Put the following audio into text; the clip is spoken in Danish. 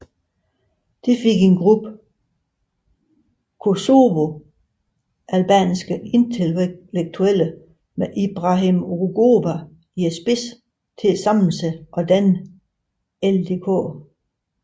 Det fik en gruppe kosovoalbanske intellektuelle med Ibrahim Rugova i spidsen til at samle sig og danne LDK